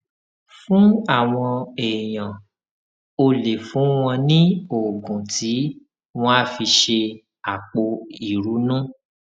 fún àwọn èèyàn o lè fún wọn ní oògùn tí wón á fi ṣe àpò ìrunú